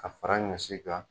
Ka fara ɲɔsi kan